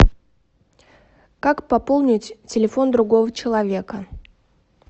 как пополнить телефон другого человека